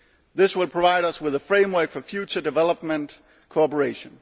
This will provide us with a framework for future development cooperation.